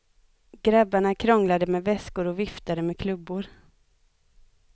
Grabbarna krånglade med väskor och viftade med klubbor.